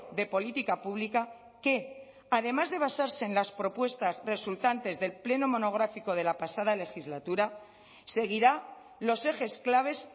de política pública que además de basarse en las propuestas resultantes del pleno monográfico de la pasada legislatura seguirá los ejes claves